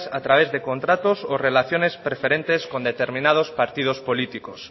a través de contratos o relaciones preferentes con determinados partidos políticos